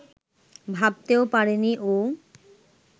ভাবতেও পারেনি ও